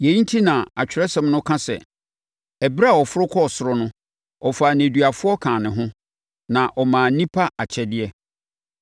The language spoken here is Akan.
Yei enti na Atwerɛsɛm no ka sɛ, “Ɛberɛ a ɔforo kɔɔ ɔsoro no, ɔfaa nneduafoɔ kaa ne ho; na ɔmaa nnipa akyɛdeɛ.”